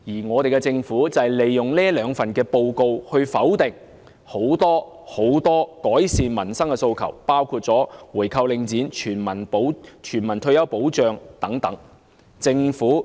香港政府亦利用這兩份報告來否定很多對改善民生的訴求，包括回購領展、全民退休保障等。